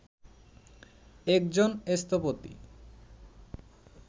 একজন স্থপতি